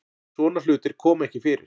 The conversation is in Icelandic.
Svona hlutir koma ekki fyrir